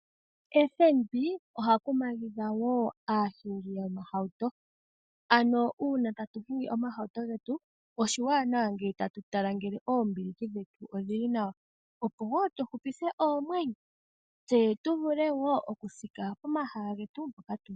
FNB oha kumagidha wo aahingi yomahauto, ano uuna tatu hingi omahauto getu oshiwanawa ngele tatu tala ngele oombiliki dhetu odhi li nawa, opo wo tu hupithe oomwenyo, tse tu vule wo okuthika komahala getu hoka tu uka.